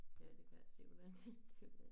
Ja det kan jeg simpelthen se det kan være